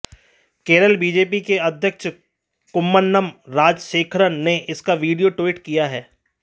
Kerala BJP के अध्यक्ष कुम्मनम राजशेखरन ने इसका वीडियो ट्वीट किया है